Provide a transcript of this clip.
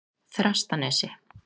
Þrastanesi